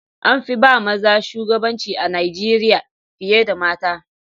An fi ba maza shugabanci a Najeriya fiye da mata.